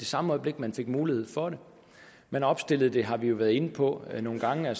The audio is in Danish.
samme øjeblik man fik mulighed for det man opstillede det det har vi været inde på nogle gange